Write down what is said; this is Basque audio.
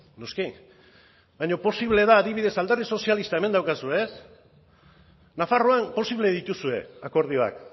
noski baina posible da adibidez alderdi sozialista hemen daukazu nafarroan posible dituzue akordioak